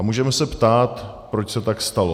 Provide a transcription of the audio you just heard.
A můžeme se ptát, proč se tak stalo.